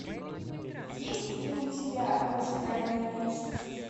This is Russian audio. есть ли у тебя в ожидании вечности